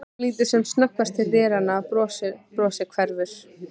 Hún lítur sem snöggvast til dyranna, brosið hverfur.